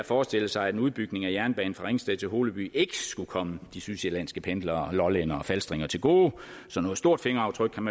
forestille sig at en udbygning af jernbanen fra ringsted til holeby ikke skulle komme de sydsjællandske pendlere og lollændere og falstringer til gode så noget stort fingeraftryk kan